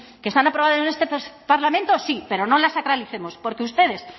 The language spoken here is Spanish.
que están aprobadas en este parlamento sí pero no las sacralicemos porque ustedes